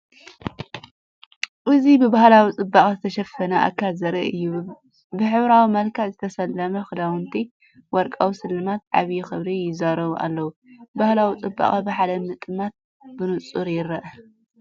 እዚ ብባህላዊ ጽባቐ ዝተሸፈነ ኣካል ዘርኢ እዩ። ብሕብራዊ መልክዕ ዝተሰለመ ክዳውንትን ወርቃዊ ስልማትን ዓቢ ክብሪ ይዛረቡ ኣለው። ባህላዊ ጽባቐ ብሓደ ምጥማት ብንጹር ይርአ።